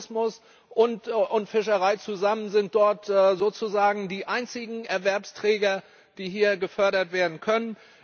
Nur Tourismus und Fischerei zusammen sind dort sozusagen die einzigen Erwerbsträger, die hier gefördert werden können.